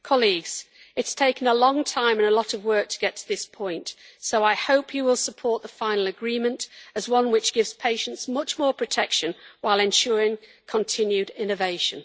Colleagues, it has taken a long time and a lot of work to get to this point, so I hope you will support the final agreement as one which gives patients much more protection, while ensuring continued innovation.